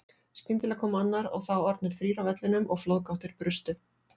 Skyndilega kom annar og þá orðnir þrír á vellinum og flóðgáttir brustu.